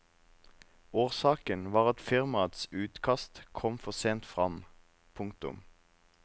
Årsaken var at firmaets utkast kom for sent frem. punktum